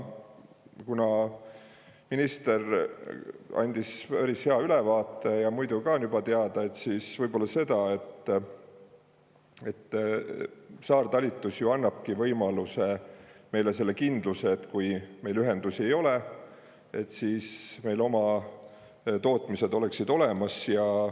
Kuna minister andis juba päris hea ülevaate ja muidu ka on teada, siis ainult selle, et saartalitlus ju annabki meile võimaluse ja selle kindluse, et kui meil ühendusi ei ole, siis on meil oma tootmised olemas.